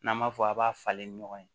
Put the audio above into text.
N'an b'a fɔ a b'a falen ni ɲɔgɔn ye